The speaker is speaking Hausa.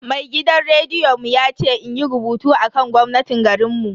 Mai gidan rediyon mu ya ce inyi rubutu akan gwamnatin garinmu.